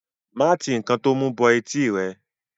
má ti ǹkan to mú bọ etí rẹ.